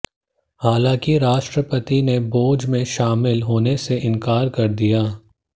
हालांकि राष्ट्रपति ने भोज में शामिल होने से इनकार कर दिया है